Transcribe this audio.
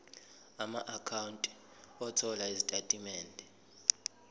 amaakhawunti othola izitatimende